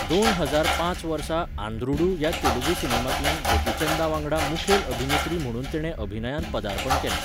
दोन हजार पांच वर्सा आंध्रुडू ह्या तेलुगू सिनेमांतल्यान गोपीचंदावांगडा मुखेल अभिनेत्री म्हुणून तिणें अभिनयांत पदार्पण केलें.